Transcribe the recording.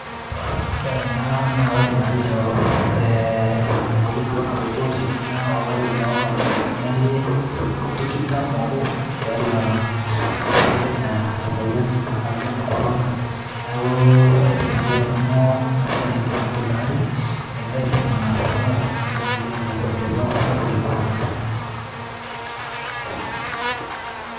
Ore ena nakaidim atejo ee emoyian apa natupukuo te kenya olari lo nkalifuni are otikitam obo tiatua olosho le kenya, emoyian naji ene corona, neaku aipimaki apa na nanu tilo ari egirai ainguraa anaa kemoyia apa ltunganak ilo kirobi sapuk le corona.